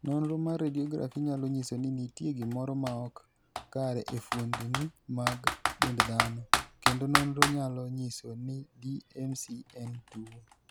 Nonro mar radiograph nyalo nyiso ni nitie gimoro maok kare e fuondni mag dend dhano, kendo nonrono nyalo nyiso ni DMC en tuwo.